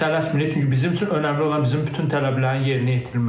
Biz tələsmirik, çünki bizim üçün önəmli olan bizim bütün tələblərin yerinə yetirilməsi.